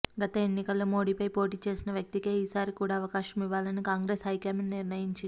గత ఎన్నికల్లో మోడీపై పోటీ చేసిన వ్యక్తికే ఈసారి కూడా అవకాశమివ్వాలని కాంగ్రెస్ హైకమాండ్ నిర్ణయించింది